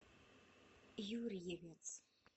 юрьевец